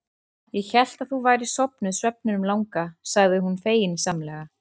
Ég hélt að þú værir sofnuð svefninum langa, sagði hún feginsamlega.